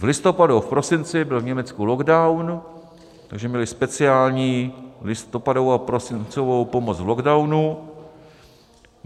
V listopadu a v prosinci byl v Německu lockdown, takže měli speciální listopadovou a prosincovou pomoc v lockdownu.